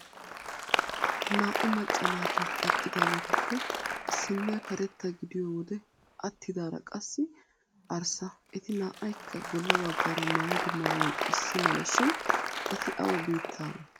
Naa"u macca naati eqqidaageetuppe issinniya karetta gidiyo wode attidaara qassi arssa eti naa"aykka bolla baggaara maayido maayoy issimala shin eti awa biittaawee?